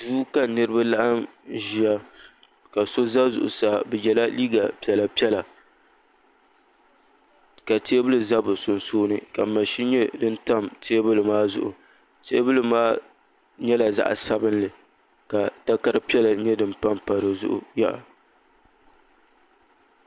Duu ka niraba laɣim ʒiya ka so ʒɛ zuɣusaa bi yɛla liiga piɛla piɛla ka teebuli ʒɛ bi sunsuuni ka maʒini nyɛ din tam tewbuli maa zuɣu teebuli maa nyɛla zaɣ sabinli ka takari piɛla nyɛ din panpa di zuɣu